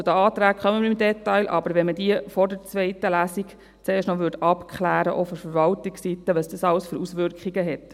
Aber deshalb wäre es aus unserer Sicht auch sinnvoll, wenn man vor der zweiten Lesung noch abklären würde, auch von Verwaltungsseite her, welche Auswirkungen all diese haben.